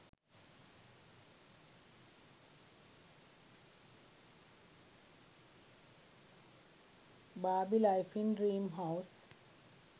barbie life in dream house